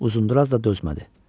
Uzunduraz da dözmədi.